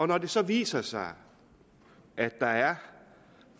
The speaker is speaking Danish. når det så viser sig at der er